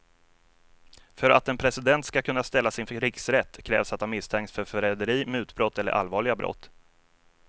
För att en president ska kunna ställas inför riksrätt krävs att han misstänks för förräderi, mutbrott eller allvarliga brott.